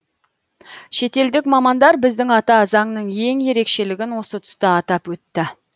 шетелдік мамандар біздің ата заңның ең ерекшелігін осы тұста атап өтті